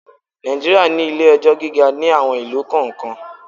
Nàìjíríà ní ilé-ẹjọ́ gíga ní àwon ìlú kọ̀ọ́kan.